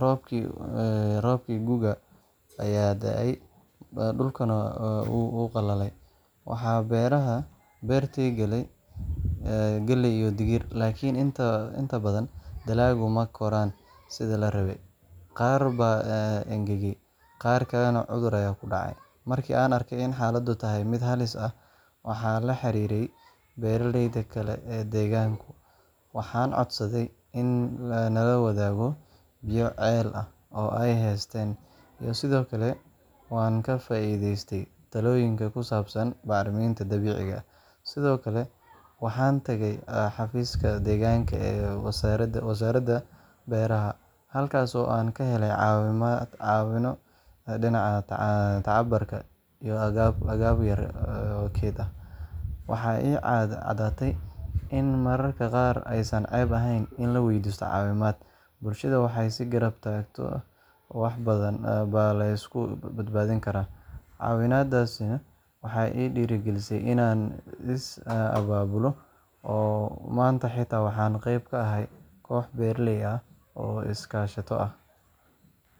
roobabkii gu’ga ayaa daahay, dhulkuna wuu qalalay. Waxaan beertay galley iyo digir, laakiin inta badan dalagga ma koraan sidii la rabay. Qaar baa engegay, qaar kalena cudur ayaa ku dhacay. Markii aan arkay in xaaladdu tahay mid halis ah, waxaan la xiriiray beeraleyda kale ee deegaanka, waxaan codsaday in nala wadaago biyo ceel ah oo ay haysteen, iyo sidoo kale waan ka faa’iideystay talooyin ku saabsan bacriminta dabiiciga ah. Sidoo kale, waxaan tegay xafiiska deegaanka ee wasaaradda beeraha, halkaas oo aan ka helay caawimo dhinaca tababarka iyo agab yar oo keyd ah. Waxaa ii caddaatay in mararka qaar aysan ceeb ahayn in la weydiisto caawimaad — bulshadu markay is garab taagto, wax badan baa la iska badbaadin karaa. Caawimadaasina waxay igu dhiirrigelisay inaan is abaabulo, oo maanta xitaa waxaan qayb ka ahay koox beeraley ah oo is-kaashato ah.